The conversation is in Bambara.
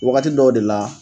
Wagati dɔw de la.